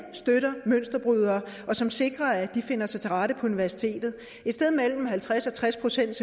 støtter mønsterbrydere og som sikrer at de finder sig til rette på universitetet et sted mellem halvtreds og tres procent